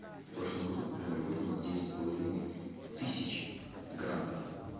в прошлом году к примеру выдано девять с половиной тысяч грантов